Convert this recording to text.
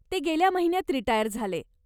ते गेल्या महिन्यात रिटायर झाले.